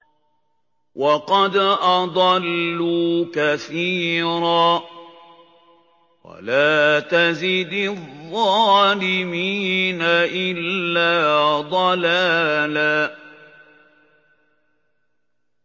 وَقَدْ أَضَلُّوا كَثِيرًا ۖ وَلَا تَزِدِ الظَّالِمِينَ إِلَّا ضَلَالًا